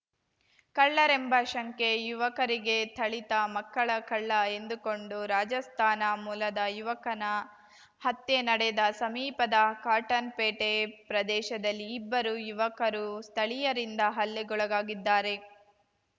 ಕಳ್ಳರೆಂಬ ಶಂಕೆ ಯುವಕರಿಗೆ ಥಳಿತ ಮಕ್ಕಳ ಕಳ್ಳ ಎಂದುಕೊಂಡು ರಾಜಸ್ಥಾನ ಮೂಲದ ಯುವಕನ ಹತ್ಯೆ ನಡೆದ ಸಮೀಪದ ಕಾಟನ್‌ಪೇಟೆ ಪ್ರದೇಶದಲ್ಲಿ ಇಬ್ಬರು ಯುವಕರು ಸ್ಥಳೀಯರಿಂದ ಹಲ್ಲೆಗೊಳಗಾಗಿದ್ದಾರೆ